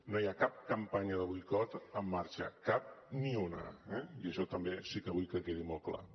no hi ha cap campanya de boicot en marxa cap ni una eh i això també sí que vull que quedi molt clar